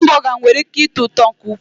Hambọga nwere ị́ké ịtọ ụtọ nke ukwuu.